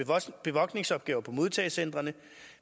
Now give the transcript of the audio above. bevogtningsopgaver på modtagecentrene